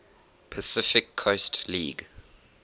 pacific coast league